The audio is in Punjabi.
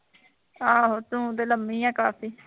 ਆਹੋ ਤੂੰ ਤੇ ਲੰਮੀ ਹੈ ਕਾਫੀ